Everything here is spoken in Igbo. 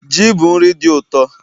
Ji bụ nri dị ụtọ